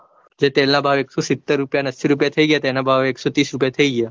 જે તેલના ભાવ એકસો સિટર ને એંસ્સી રૂપિયા થઇ ગયા તા એના ભાવ એકસો રૂપિયા થઇ ગયા.